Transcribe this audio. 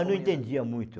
Eu não entendia muito.